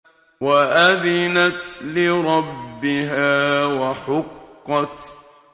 وَأَذِنَتْ لِرَبِّهَا وَحُقَّتْ